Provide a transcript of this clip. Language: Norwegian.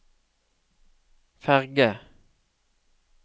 ferge